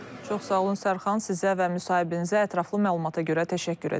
Çox sağ olun Sərxan, sizə və müsahibinizə ətraflı məlumata görə təşəkkür edirəm.